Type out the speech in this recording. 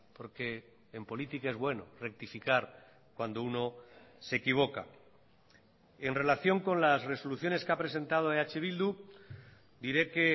porque en política es bueno rectificar cuando uno se equivoca en relación con las resoluciones que ha presentado eh bildu diré que